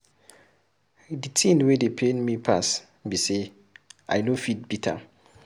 The thing wey dey pain me pass be say I no fit beat am